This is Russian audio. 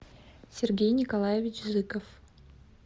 сергей николаевич зыков